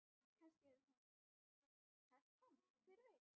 Kannski hefur hún tælt hann, hver veit?